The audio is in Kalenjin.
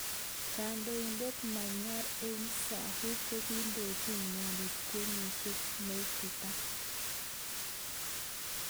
Kandoindet Myanmar Aung San Suu kokindojin inendet kweishet neititaat.